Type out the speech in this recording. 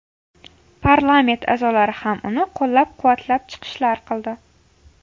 Parlament a’zolari ham uni qo‘llab-quvvatlab chiqishlar qildi.